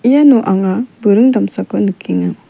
iano anga buring damsako nikenga.